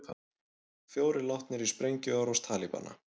Fjórir látnir í sprengjuárás Talibana